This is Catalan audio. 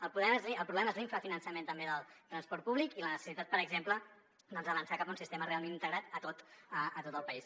el problema és l’infrafinançament també del transport públic i la necessitat per exemple d’avançar cap a un sistema realment integrat a tot el país